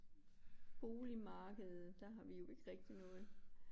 Boligmarkedet der har vi jo ikke rigtig noget